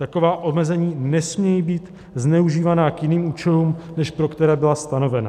Taková omezení nesmějí být zneužívána k jiným účelům, než pro které byla stanovena.